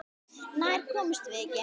Nær komumst við ekki.